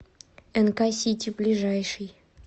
нк сити ближайший